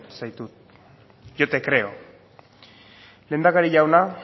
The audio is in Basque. zaitut yo te creo lehendakari jauna